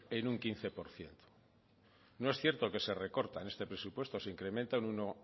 en un quince por ciento no es cierto que se recorta en este presupuesto se incrementa un uno